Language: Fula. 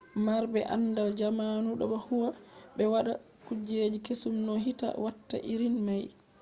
marbe andal jamanu do huwa be wada kuje kesum no hite watta irin mai